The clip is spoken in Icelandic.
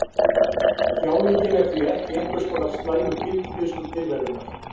Þjáningin er því ekki einhvers konar slæmur fylgifiskur tilverunnar.